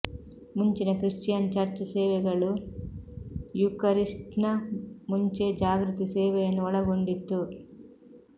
ಮುಂಚಿನ Christian church ಸೇವೆಗಳು ಯೂಕರಿಸ್ಟ್ನ ಮುಂಚೆ ಜಾಗೃತಿ ಸೇವೆಯನ್ನು ಒಳಗೊಂಡಿತ್ತು